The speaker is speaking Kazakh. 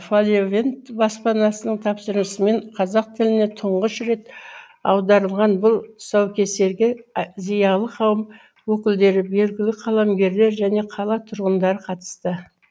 фолиавент баспанасының тапсырысымен қазақ тіліне тұңғыш рет аударылған бұл тұсаукесерге зиялы қауым өкілдері белгілі қаламгерлер және қала тұрғандары қатысты